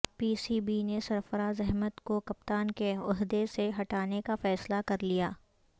پی سی بی نے سرفراز احمد کو کپتان کے عہدے سے ہٹانے کا فیصلہ کرلیا